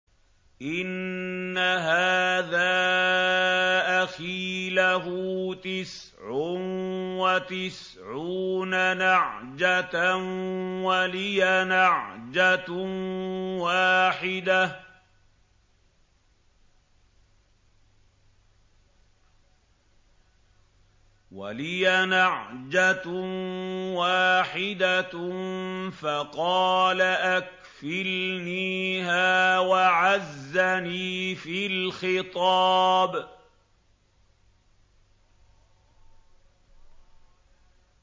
إِنَّ هَٰذَا أَخِي لَهُ تِسْعٌ وَتِسْعُونَ نَعْجَةً وَلِيَ نَعْجَةٌ وَاحِدَةٌ فَقَالَ أَكْفِلْنِيهَا وَعَزَّنِي فِي الْخِطَابِ